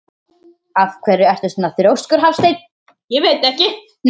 Af hverju ertu svona þrjóskur, Hallsteinn?